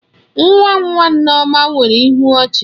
Nwa nwa Nneoma nwere ịhụ ọchi.